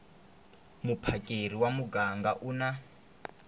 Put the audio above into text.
muphakeri wa muganga u na